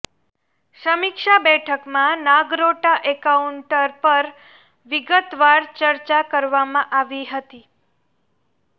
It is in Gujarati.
સમીક્ષા બેઠકમાં નાગરોટા એન્કાઉન્ટર પર વિગતવાર ચર્ચા કરવામાં આવી હતી